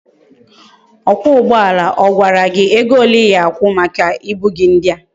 Okwa ugboala agwara gi ego ole I ga akwu maka ibu gi ndia?